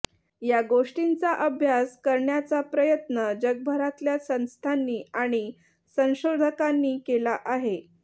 या गोष्टींचा अभ्यास करण्याचा प्रयत्न जगभरातल्या संस्थांनी आणि संशोधकांनी केला आहे